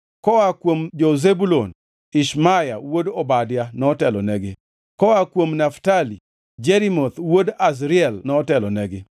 koa kuom jo-Zebulun: Ishmaya wuod Obadia notelonegi; koa kuom jo-Naftali: Jerimoth wuod Azriel notelonegi;